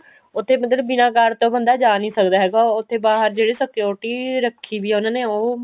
ਉੱਥੇ ਬੰਦੇ ਨੂੰ ਬਿਨਾ card ਤੋਂ ਬੰਦਾ ਜਾ ਨੀ ਸਕਦਾ ਉੱਥੇ ਬਾਹਰ ਜਿਹੜੇ security ਰੱਖੀ ਵੀ ਆ ਉਹਨਾ ਨੇ ਉਹ